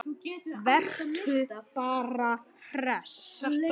Vertu bara hress!